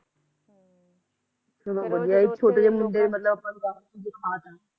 ਚਲੋਂ ਵੱਧਿਆ ਜੀ ਛੋਟੇ ਜਿਹੇ ਮੁੰਡੇ ਨੇ ਮਤਲਬ ਆਪਾ ਨੂੰ ਰਾਸਤੇ ਦਿਖਾ ਤਾ